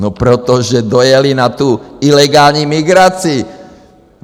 No protože dojeli na tu ilegální migraci.